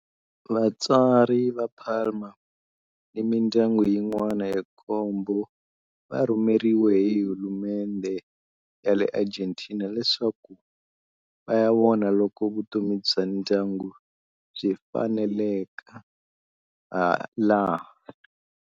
Vatswari va Palma ni mindyangu yin'wana ya nkombo va rhumeriwe hi hulumendhe ya le Argentina leswaku va ya vona loko vutomi bya ndyangu byi faneleka laha.